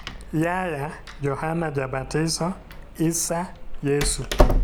Yahya (Johana Jabatiso), Isa (Yesu).